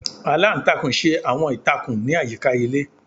Aláǹtakùn ṣe awọn ìtakùn ni ayika ilé.